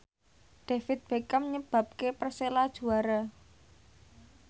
David Beckham nyebabke Persela juara